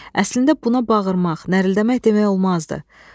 Əslində buna bağırmaq, nərəldəmək demək olmazdı.